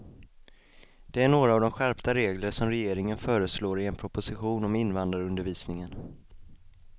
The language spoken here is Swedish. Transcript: Det är några av de skärpta regler som regeringen föreslår i en proposition om invandrarundervisningen.